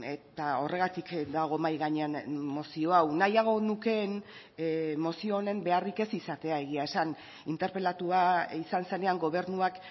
eta horregatik dago mahai gainean mozio hau nahiago nukeen mozio honen beharrik ez izatea egia esan interpelatua izan zenean gobernuak